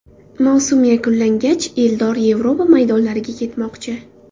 Mavsum yakunlangach Eldor Yevropa maydonlariga ketmoqchi.